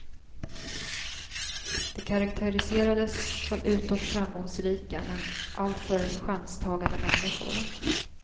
De karaktäriserades som utåt framgångsrika, men alltför chanstagande människor.